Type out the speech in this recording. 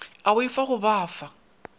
a boifa go ba fa